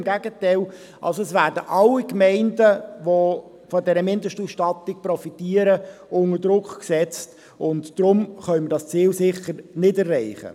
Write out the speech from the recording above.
Im Gegenteil, es werden alle Gemeinden, die von dieser Mindestausstattung profitieren, unter Druck gesetzt, und deswegen können wir dieses Ziel sicher nicht erreichen.